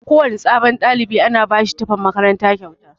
Kowana sabon ɗalibi ana bashi tufan makaranta kyauta.